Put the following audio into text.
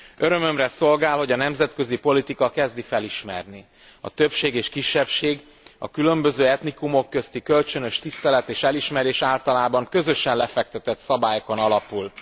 Örömömre szolgál, hogy a nemzetközi politika kezdi felismerni, hogy a többség és kisebbség közti, a különböző etnikumok közti kölcsönös tisztelet és elismerés általában közösen lefektetett szabályokon alapul.